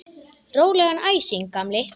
Rólegan æsing, gamli!